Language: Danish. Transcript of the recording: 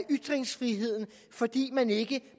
ytringsfriheden fordi man ikke